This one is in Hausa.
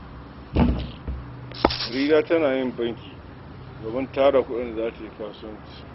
Barira tana yin banki domin ta tara kuɗin da za ta yi kasuwanci.